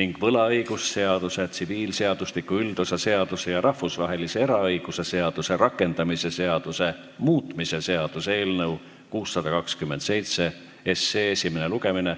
ning võlaõigusseaduse, tsiviilseadustiku üldosa seaduse ja rahvusvahelise eraõiguse seaduse rakendamise seaduse muutmise seaduse eelnõu esimene lugemine.